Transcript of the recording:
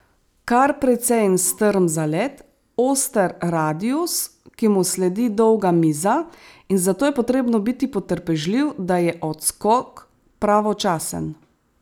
Kar precej strm zalet, oster radius, ki mu sledi dolga miza in zato je potrebno biti potrpežljiv, da je odskok pravočasen.